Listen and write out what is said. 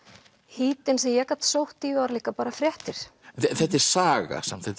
hítin sem ég gat sótt í var líka bara fréttir þetta er saga samt þetta